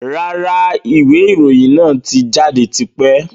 Rárá, ìwé ìròyìn náà tí jáde tipẹ́.